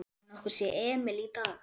Hefurðu nokkuð séð Emil í dag?